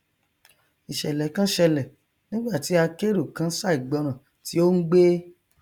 ìṣẹlẹ kan ṣẹlẹ nígbàtí akérò kan ṣàìgbọràn tí ó ngbé